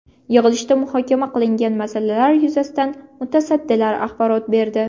Yig‘ilishda muhokama qilingan masalalar yuzasidan mutasaddilar axborot berdi.